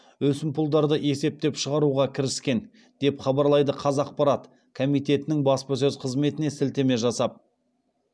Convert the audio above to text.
өсімпұлдарды есептеп шығаруға кіріскен деп хабарлайды қазақпарат комитетінің баспасөз қызметіне сілтеме жасап